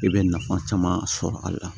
I bɛ nafa caman sɔrɔ a la